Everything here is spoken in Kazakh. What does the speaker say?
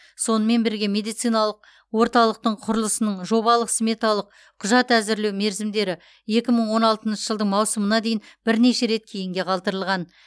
сонымен бірге медициналық орталықтың құрылысының жобалық сметалық құжат әзірлеу мерзімдері екі мың он алтыншы жылдың маусымына дейін бірнеше рет кейінге қалдырылған